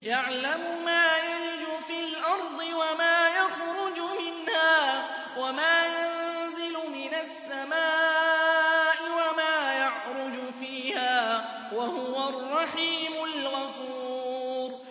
يَعْلَمُ مَا يَلِجُ فِي الْأَرْضِ وَمَا يَخْرُجُ مِنْهَا وَمَا يَنزِلُ مِنَ السَّمَاءِ وَمَا يَعْرُجُ فِيهَا ۚ وَهُوَ الرَّحِيمُ الْغَفُورُ